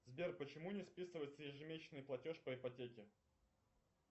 сбер почему не списывается ежемесячный платеж по ипотеке